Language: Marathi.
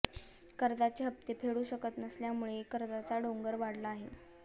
कर्जाचे हप्ते फेडू शकत नसल्यामुळे कर्जाचा डोंगर वाढला आहे